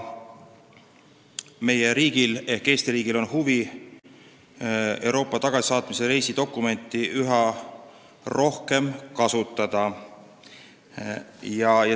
Meie riigil ehk Eestil on aga huvi Euroopa tagasisaatmise reisidokumenti üha rohkem kasutada.